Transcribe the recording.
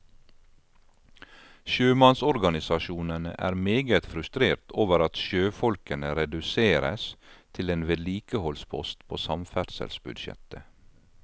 Sjømannsorganisasjonene er meget frustrert over at sjøfolkene reduseres til en vedlikeholdspost på samferdselsbudsjettet.